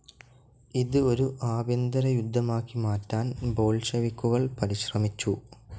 ഇത് ഒരു ആഭ്യന്തരയുദ്ധമാക്കി മാറ്റാൻ ബോൾഷെവിക്കുകൾ പരിശ്രമിച്ചു.